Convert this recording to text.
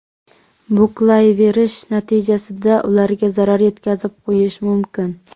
Buklayverish natijasida ularga zarar yetkazib qo‘yish mumkin.